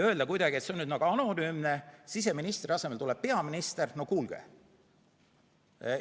Öelda kuidagi, et see on nüüd nagu anonüümne, siseministri asemele tuleb peaminister – no kuulge!